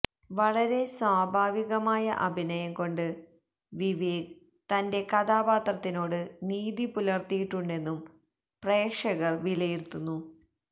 വളരെ സ്വഭാവികമായ അഭിനയം കൊണ്ട് വിവേക് തന്റെ കഥാപാത്രത്തിനോട് നീതി പുലര്ത്തിയിട്ടുണ്ടെന്നും പ്രേക്ഷകര് വിലയിരുത്തുന്നു